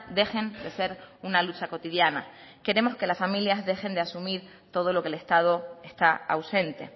dejen de ser una lucha cotidiana queremos que las familias dejen de asumir todo lo que el estado está ausente